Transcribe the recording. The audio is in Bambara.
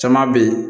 Caman bɛ yen